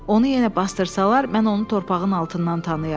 Onu yenə bastırsalar, mən onu torpağın altından tanıyaram.